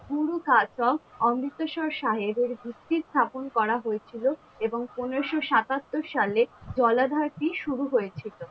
গরু কার্য অমৃতসর সাহেবের ভিত্তি স্থাপন করা হয়ে ছিল এবং পনেরোশো সাতাত্তর সালে জলাধারটি শুরু হয়েছিল